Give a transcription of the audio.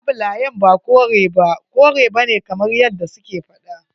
Labulayen ba kore ba kore bane kamar yadda su ke faɗa.